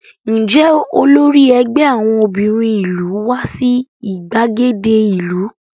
Ǹjẹ́ olórí ẹgbẹ́ àwọn obìnrin ìlú wá sí ìgbàgede ìlú?